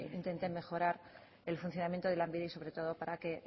intenten mejorar el funcionamiento de lanbide y sobre todo para que